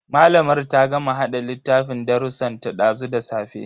Malamar ta gama hada littafin darrusan ta dazu da safe.